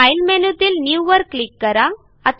file मेनूतील new वर click करा